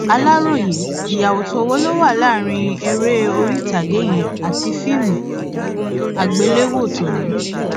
aláròye ìyàtọ wo ló wà láàrin eré orí ìtàgé yẹn àti fíìmù àgbéléwò tòní